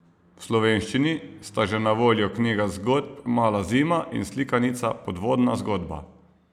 V slovenščini sta že na voljo knjiga zgodb Mala zima in slikanica Podvodna zgodba.